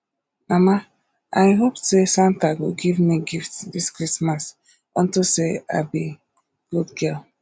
mama i hope say santa go give me gift dis christmas unto say i be good girl